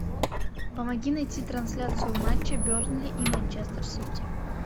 помоги найти трансляцию матча бернли и манчестер сити